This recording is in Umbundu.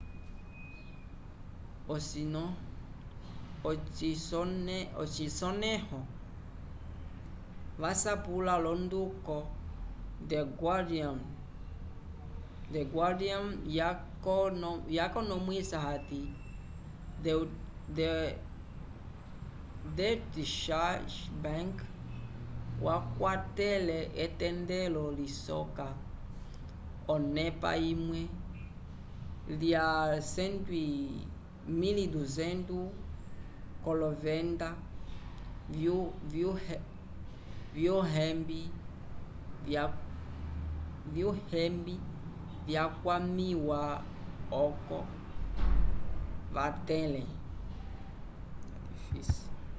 ocisonẽho yasapulo l'onduko the guardian yakonomwisa hati deutsche bank wakwatele etendelo lisoka onepa imwe lya 1200 k'olovenda vyuhembi vyakwamiwa oco vatẽle